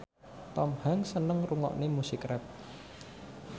Tom Hanks seneng ngrungokne musik rap